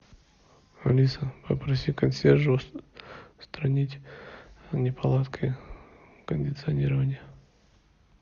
алиса попроси консьержа устранить неполадки кондиционирования